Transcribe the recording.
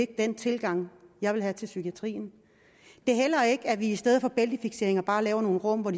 den tilgang jeg vil have til psykiatrien det er heller ikke at vi i stedet for bæltefikseringer bare laver nogle rum hvor